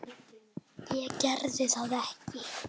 Ég geri það ekki.